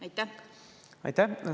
Aitäh!